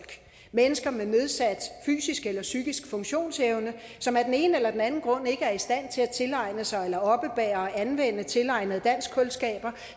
mennesker med nedsat fysisk eller psykisk funktionsevne som af den ene eller den anden grund ikke er i stand til at tilegne sig eller oppebære og anvende tilegnede danskkundskaber